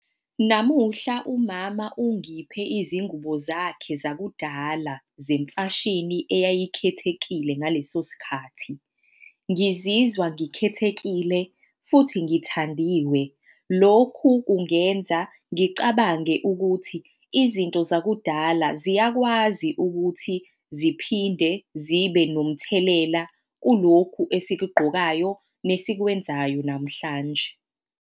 Namuhla umama ungiphe izingubo zakhe zakudala zemfashini eyayikhethekile ngaleso sikhathi. Ngizizwa ngikhethekile futhi ngithandiwe. Lokhu kungenza ngicabange ukuthi izinto zakudala ziyakwazi ukuthi ziphinde zibe nomthelela kulokhu esikugqokayo nesikwenzayo namhlanje.